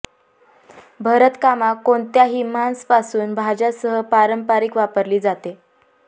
भरतकामा कोणत्याही मांस पासून भाज्या सह पारंपारिक वापरली जाते